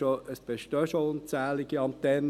Es bestehen schon unzählige Antennen;